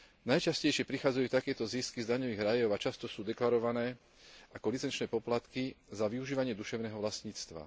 Najčastejšie prichádzajú takéto zisky z daňových rajov a často sú deklarované ako licenčné poplatky za využívanie duševného vlastníctva.